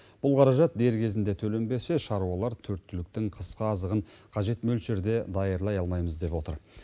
бұл қаражат дер кезінде төленбесе шаруалар төрт түліктің қысқы азығын қажет мөлшерде даярлай алмаймыз деп отыр